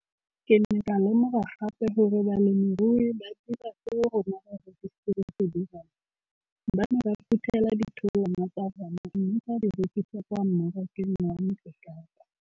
Ke ne ka lemoga gape gore balemirui ba dira seo rona barekisi re se dirang, ba ne ba phuthela ditholwana tsa bona mme ba di rekisa kwa marakeng wa Motsekapa.